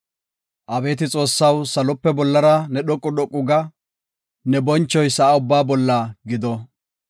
Abeeti Xoossaw, salope bollara ne dhoqu dhoqu ga; ne bonchoy sa7a ubbaa bolla gido.